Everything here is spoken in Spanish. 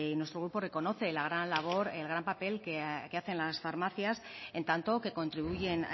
nuestro grupo reconoce la gran labor el gran papel que hacen las farmacias en tanto que contribuyen